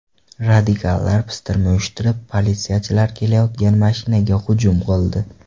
Radikallar pistirma uyushtirib, politsiyachilar ketayotgan mashinaga hujum qildi.